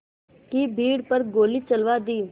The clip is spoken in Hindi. की भीड़ पर गोली चलवा दी